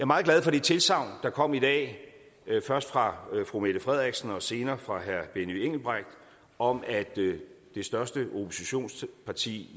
meget glad for det tilsagn der kom i dag først fra fru mette frederiksen og senere fra herre benny engelbrecht om at det største oppositionsparti